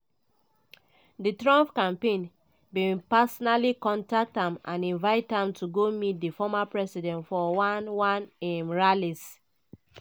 di trump campaign bin personally contact am and invite am to go meet di former president for one one of im rallies.